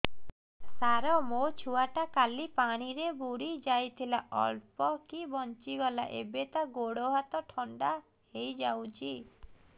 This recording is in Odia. ସାର ମୋ ଛୁଆ ଟା କାଲି ପାଣି ରେ ବୁଡି ଯାଇଥିଲା ଅଳ୍ପ କି ବଞ୍ଚି ଗଲା ଏବେ ତା ଗୋଡ଼ ହାତ ଥଣ୍ଡା ହେଇଯାଉଛି